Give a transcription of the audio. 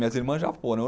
Minhas irmãs já foram.